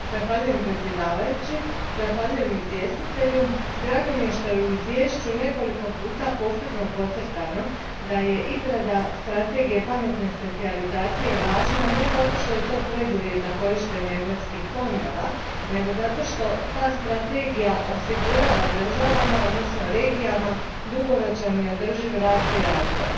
Gospodine predsjedniče, zahvaljujem izvjestitelju. Drago mi je što je u izvješću nekoliko puta posebno podcrtano da je izrada strategije pametne specijalizacije važna ne zato što je to preduvjet za korištenje europskih fondova, nego zato što ta strategija osigurava državama, odnosno regijama, dugoročan i održiv rast i razvoj.